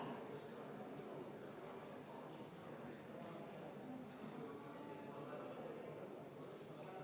Muudatusettepaneku nr 6 esitaja on Eesti Vabaerakonna fraktsioon, täielikult arvestatud.